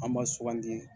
An ma sugandi